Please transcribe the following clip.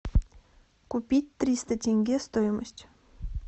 купить триста тенге стоимость